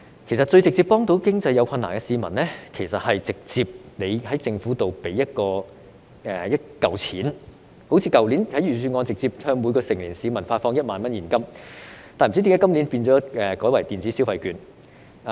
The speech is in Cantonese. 其實，最直接幫助經濟有困難的市民，是政府直接給予一筆錢，正如去年預算案直接向每名成年市民發放現金1萬元，不知為何今年改為派發電子消費券。